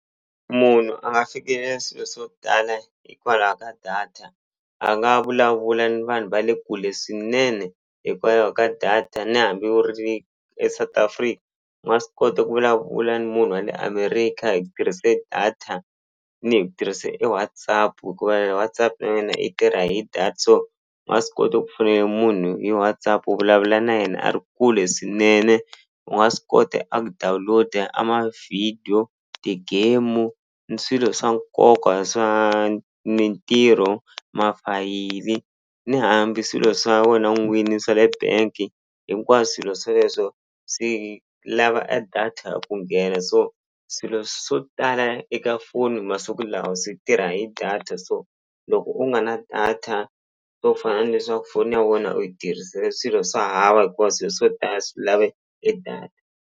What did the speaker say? Munhu a nga fikelela swilo swa ku tala hikwalaho ka data a nga vulavula ni vanhu va le kule swinene hikwalaho ka data ni hambi wu ri eSouth Africa wa swi kota ku vulavula ni munhu wa le America hi ku tirhise data ni hi ku tirhise e WhatsApp hikuva e WhatsApp na yona i tirha hi so nga swi kota ku fonela munhu hi WhatsApp u vulavula na yena a ri kule swinene u nga swi kota a ku download-a a ma-video ti-game ni swilo swa nkoka swa mintirho mafayili ni hambi swilo swa wena n'wini swa le bank swilo sweleswo swi lava a data ku nghena so swilo swo tala eka foni masiku lawa swi tirha hi data so loko u nga na data swo fana ni leswaku foni ya wena u yi tirhisele swilo swa hava hikuva swilo swo tala swi lave e data.